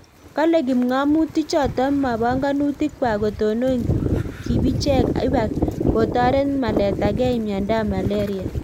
Kale kimngomutik chotok ma panganutik kwak kotonon kibicheek ibak kotoret Maleta gei miondop malaria